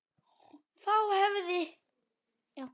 Þá hefði